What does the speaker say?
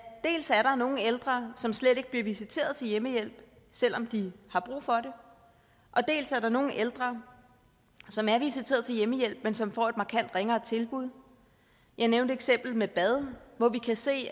dels er nogle ældre som slet ikke bliver visiteret til hjemmehjælp selv om de har brug for det dels er der nogle ældre som er visiteret til hjemmehjælp men som får et markant ringere tilbud jeg nævnte eksemplet med bad hvor vi kan se